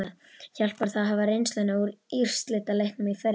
Hjálpar það að hafa reynsluna úr úrslitaleiknum í fyrra?